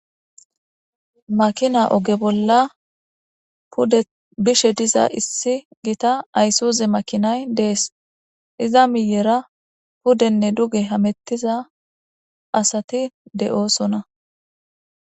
Makina oge bolla pude bishe diza issi gita isuze makinay dees,iza miiyera pudenne duge hamettiza asati de7osona.